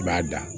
I b'a da